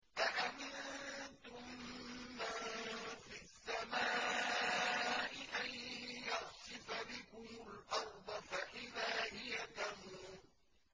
أَأَمِنتُم مَّن فِي السَّمَاءِ أَن يَخْسِفَ بِكُمُ الْأَرْضَ فَإِذَا هِيَ تَمُورُ